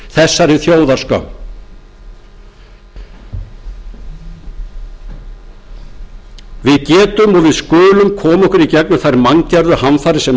þessari þjóðarskömm við getum og við skulum koma okkur í gegnum þær manngerðu hamfarir sem á